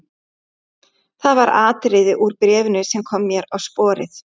Það var atriði úr bréfinu sem kom mér á sporið.